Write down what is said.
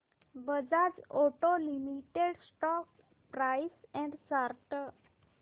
Bajaj auto limited stock price and chart